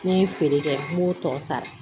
Ne ye feere kɛ n b'o tɔ sara